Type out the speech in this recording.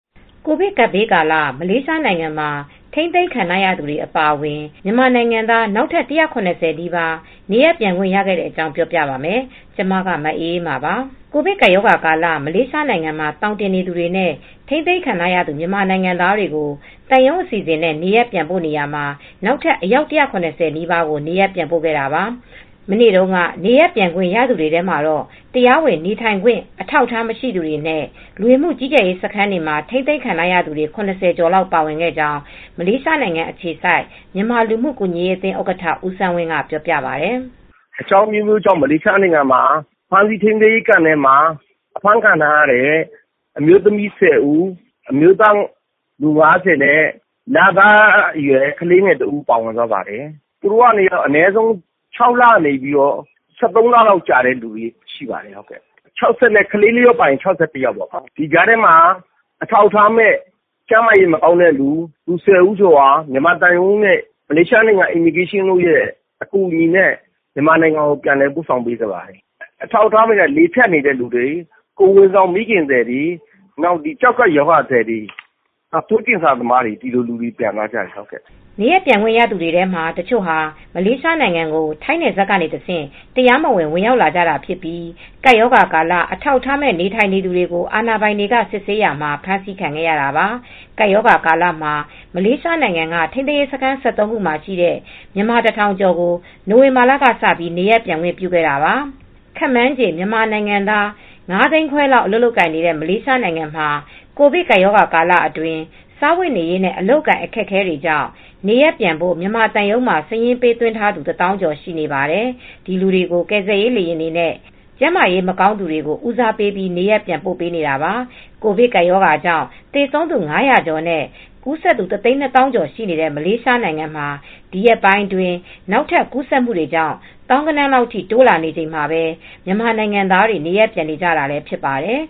ကိုဗစ်ကပ်ဘေးကာလ မလေးရှားနိုင်ငံမှာ ထိန်းသိမ်းခံထားရသူတွေ အပါအဝင် မြန်မာနိုင်ငံသား နောက်ထပ် ၁၇၀ နီးပါး နေရပ်ပြန်ခွင့်ရခဲ့ကြတဲ့အကြောင်း ပြောပြပါမယ်။ ဗွီအိုအေမြန်မာပိုင်း သတင်းထောက် မအေးအေးမာက သတင်းပေးပို့ထားပါတယ်။ ကိုဗစ်ကပ်ရောဂါကာလ မလေးရှားနိုင်ငံမှာ သောင်တင်နေသူတွေနဲ့ ထိန်းသိမ်းခံထားရသူ မြန်မာနိုင်ငံသားတွေကို သံရုံးအစီအစဉ်နဲ့ နေရပ်ပြန်ပို့နေရာမှာ နောက်ထပ်အယောက် ၁၇၀ နီးပါးကို နေရပ်ပြန်ပို့ခဲ့တာပါ။ မနေ့တုန်းက နေရပ်ပြန်ခွင့်ရခဲ့သူတွေထဲမှာတော့ တရားဝင် နေထိုင်ခွင့် အထောက်အထားမရှိသူတွေနဲ့ လူဝင်မှုကြီးကြပ်ရေး စခန်းတွေမှာ ထိန်းသိမ်းခံခဲ့ရသူတွေ ၇၀ ကျော်လောက်ပါဝင်ခဲ့ကြောင်း မလေးရှားနိုင်ငံအခြေစိုက် မြန်မာလူမှုကူညီရေးအသင်းဥက္ကဋ္ဌ ဦးစန်းဝင်းက ပြောပါတယ်။ “အကြောင်းအမျိုးမျိုးကြောင့် မလေးရှားနိုင်ငံက ဖမ်းဆီးထိန်းသိမ်ရေးစခန်းမှာ ဖမ်းဆီးခံထားရတဲ့အမျိုးသမီး ၁၀ ဦး၊ အမျိုးသား ၅၀ နဲ့ လသားအရွယ်ကလေးငယ်တဦးကို ပြန်သွားပါတယ်။ ကလေးအပါအဝင်ဆိုရင် ၆၁ ဦးဖြစ်ပါတယ်။ သူတို့က ထိန်းသိမ်းစခန်းထဲကအနည်းဆုံး ၆ လကနေ ၁၃ လ ထိ နေထိုင်ခဲ့ရသူတွေဖြစ်ပါတယ်။ ဒီကြားထဲမှာ အထောက်အထားမဲ့ ကျန်းမာရေးမကောင်းတဲ့သူ လူ ၁၀ ဦးကျော်ကိုလည်း မြန်မာသံရုံးနဲ့ မလေးရှားနိုင်ငံလဝကနဲ့ မြန်မာသံရုံးအကူညီနဲ့ ပြန်ပို့ကြပါတယ်။ အထောက်အထားမဲ့တွေဆိုတာကတော့ လေဖြတ်တဲ့သူတွေ၊ ကိုယ်ဝန်ဆောင်ရောဂါသယ်တွေ၊ ကျောက်ကပ်ဝေဒနာရှင်တွေ၊ သွေးကင်ဆာသမားတွေ ဒီလိုလူတွေပြန်သွားကြပါတယ်။” နေရပ်ပြန်ခွင့်ရသူတွေထဲက တချို့ဟာ မလေးရှားနိုင်ငံကို ထိုင်းနယ်စပ်ကတဆင့် တရားမဝင် ဝင်ရောက်လာသူတွေဖြစ်ကြပြီး ကပ်ရောဂါကာလ အထောက်အထားမဲ့ နေထိုင်သူတွေကို အာဏာပိုင်တွေ စစ်ဆေးရာမှာ ဖမ်းဆီးခံခဲ့ရတာပါ။ ကပ်ရောဂါကာလမှာ မလေးရှားနိုင်ငံက ထိန်းသိမ်းရေးစခန်း ၁၃ ခုမှာရှိတဲ့ မြန်မာ ၁,၀၀၀ ကျော်ကို နိုဝင်ဘာကစ နေရပ်ပြန်ခွင့်ပြုခဲ့တာပါ။ ခန့်မှန်းခြေ မြန်မာနိုင်ငံသား ၅၅၀,၀၀၀ လောက်အလုပ်လုပ်ကိုင်နေတဲ့ မလေးရှားမှာ ကိုဗစ်ကပ်ရောဂါကာလအတွင်း စားဝတ်နေရေးနဲ့ အလုပ်အကိုင် အခက်အခဲတွေကြောင့် နေရပ်ပြန်ဖို့ မြန်မာသံရုံးမှာ စာရင်းပေးသွင်းထားသူ ၁၀,၀၀၀ ကျော်ရှိနေပါတယ်။ ဒီလူတွေကို ကယ်ဆယ်ရေးလေယာဉ်တွေနဲ့ ကျန်းမာရေးမကောင်းသူတွေကို ဦးစားပေးပြီးနေရပ်ပြန်ပို့နေတာပါ ကိုဗစ်ကပ်ရောဂါကြောင့် သေဆုံးသူ ၅၀၀ ကျော်နဲ့ ကူးစက်သူ ၁၂၀,၀၀၀ ကျော်ရှိနေတဲ့ မလေးရှားနိုင်ငံမှာ ဒီရက်ပိုင်းအတွင်း နောက်ထပ် ကူးစက်မှုတွေကြောင့် သောင်းဂဏန်းလောက်ထိ တိုးလာနေချိန်မှာပဲ မြန်မာနိုင်ငံသားတွေ နေရပ်ပြန်နေကြတာလည်း ဖြစ်ပါတယ်